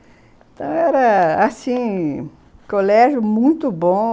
Então era, assim, colégio muito bom.